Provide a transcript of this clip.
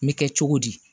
N bɛ kɛ cogo di